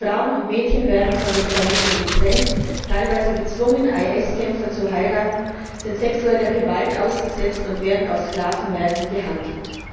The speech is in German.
Die Frauen und Mädchen werden von den Familien getrennt, teilweise gezwungen, IS Kämpfer zu heiraten, sind sexueller Gewalt ausgesetzt und werden auf Sklavenmärkten gehandelt.